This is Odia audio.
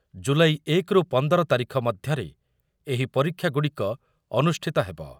ଜୁଲାଇ ଏକ ରୁ ପଂଦର ତାରିଖ ମଧ୍ୟରେ ଏହି ପରୀକ୍ଷାଗୁଡ଼ିକ ଅନୁଷ୍ଠିତ ହେବ ।